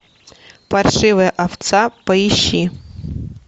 паршивая овца поищи